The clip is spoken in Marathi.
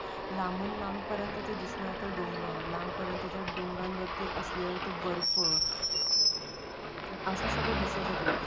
लांबून लांबपर्यंत ते दिसण्याचे डोंगर लांबपर्यंत डोंगराच्या वरती असलेला तो बर्फ असं सगळं दिसत होतं तिथं.